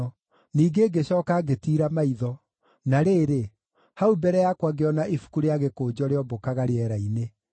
Ningĩ ngĩcooka ngĩtiira maitho, na rĩrĩ, hau mbere yakwa ngĩona ibuku-rĩa-gĩkũnjo rĩombũkaga rĩera-inĩ.